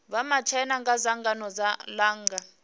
vha matshaina kha dzangano langa